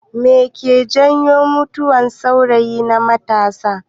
Me ke jawo mutuwan sauri na matasa